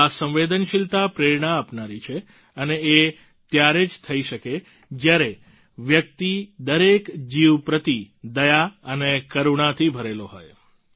આ સંવેદનશીલતા પ્રેરણા આપનારી છે અને એ ત્યારે જ થઈ શકે જ્યારે વ્યક્તિ દરેક જીવ પ્રતિ દયા અને કરૂણાથી ભરેલો હોય